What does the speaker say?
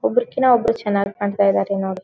ಒಬ್ರುಕಿನ ಒಬ್ರು ಚೆನ್ನಾಗಿ ಕಾಣ್ತಾ ಇದ್ದಾರೆ ನೋಡಿ.